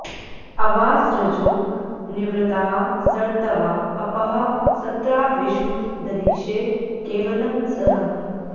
अवा॑सृजो॒ निवृ॑ताः॒ सर्त॒वा अ॒पः स॒त्रा विश्वं॑ दधिषे॒ केव॑लं॒ सहः॑